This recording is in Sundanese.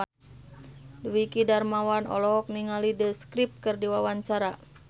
Dwiki Darmawan olohok ningali The Script keur diwawancara